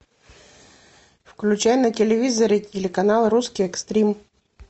включай на телевизоре телеканал русский экстрим